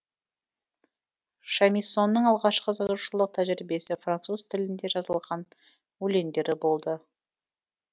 шамиссоның алғашқы жазушылық тәжірибесі француз тілінде жазылған өлеңдері болды